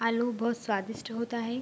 आलू बहुत स्वादिस्ट होता है।